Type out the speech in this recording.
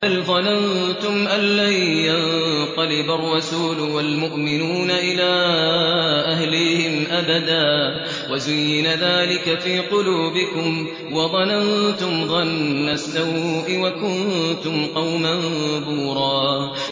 بَلْ ظَنَنتُمْ أَن لَّن يَنقَلِبَ الرَّسُولُ وَالْمُؤْمِنُونَ إِلَىٰ أَهْلِيهِمْ أَبَدًا وَزُيِّنَ ذَٰلِكَ فِي قُلُوبِكُمْ وَظَنَنتُمْ ظَنَّ السَّوْءِ وَكُنتُمْ قَوْمًا بُورًا